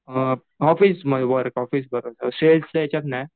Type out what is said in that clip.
Office work office work सेल्सच्या याच्यात नाही.